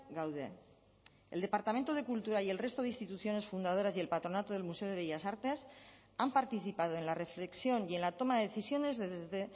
gaude el departamento de cultura y el resto de instituciones fundadoras y el patronato del museo de bellas artes han participado en la reflexión y en la toma de decisiones desde